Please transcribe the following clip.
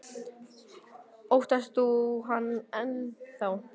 Bryndís: Óttast þú hann enn þá?